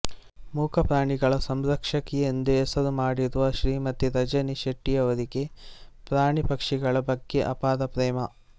ಮೂಕ ಪ್ರಾಣಿಗಳ ಸಂರಕ್ಷಕಿ ಎಂದೇ ಹೆಸರುಮಾಡಿರುವ ಶ್ರೀಮತಿ ರಜನಿ ಶೆಟ್ಟಿಯವರಿಗೆ ಪ್ರಾಣಿ ಪಕ್ಷಿಗಳ ಬಗ್ಗೆ ಅಪಾರ ಪ್ರೇಮ